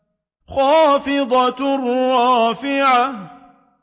خَافِضَةٌ رَّافِعَةٌ